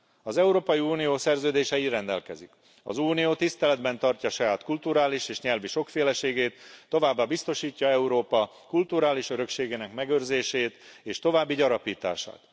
Az Európai Unió szerződése így rendelkezik az Unió tiszteletben tartja saját kulturális és nyelvi sokféleségét, továbbá biztosítja Európa kulturális örökségének megőrzését és további gyarapítását.